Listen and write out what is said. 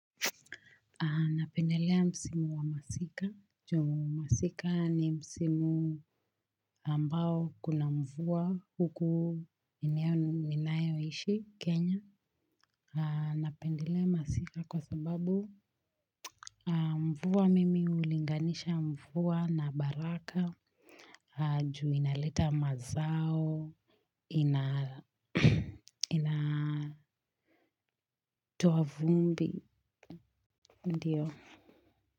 Napendelea msimu wa masika. Juu masika ni msimu ambao kuna mvua huku eneo ninayoishi Kenya. Napendelea masika kwa sababu mvua mimi ulinganisha mvua na baraka. Ju inaleta mazao. Inatoa vumbi. Ndiyo.